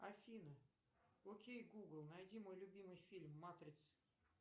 афина окей гугл найди мой любимый фильм матрица